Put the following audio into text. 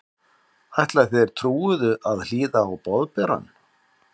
Ætla þeir trúuðu að hlýða á Boðberann?